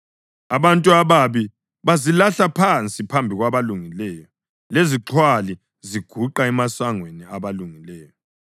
Abantu ababi bazilahla phansi phambi kwabalungileyo, lezixhwali ziguqa emasangweni abalungileyo.